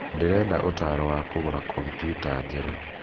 Ndĩrenda ũtaaro wa kũgũra kompiuta njerũ